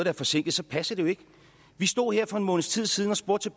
er forsinket så passer det jo ikke vi stod her for en måneds tid siden og spurgte